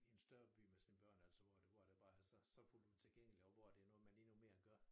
I en større by med sine børn altså hvor det hvor det bare er så så fuldt ud tilgængeligt og hvor det noget man endnu mere gør